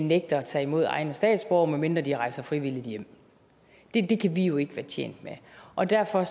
nægter at tage imod egne statsborgere medmindre de rejser frivilligt hjem det kan vi jo ikke være tjent med og derfor